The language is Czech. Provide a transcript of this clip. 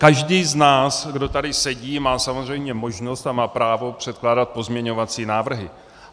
Každý z nás, kdo tady sedí, má samozřejmě možnost a má právo předkládat pozměňovací návrhy.